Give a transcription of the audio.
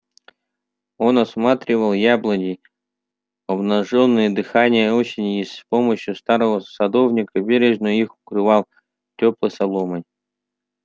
он осматривал яблони обнажённые дыханием осени и с помощию старого садовника бережно их укрывал тёплой соломой